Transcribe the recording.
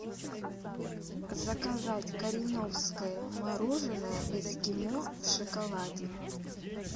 заказать кореновское мороженое эскимо в шоколаде